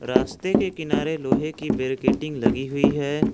रास्ते के किनारे लोहे की बैरिकेटिंग लगी हुई है।